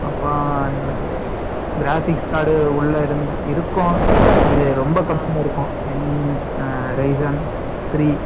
அப்புறம் என்னது? Graphics card உள்ள இருக்கும். இது ரொம்ப கம்மியா இருக்கும். என் reason , three